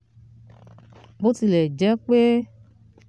bó tilẹ̀ jẹ́ pé